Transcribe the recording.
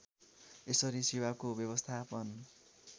यसरी सेवाको व्यवस्थापन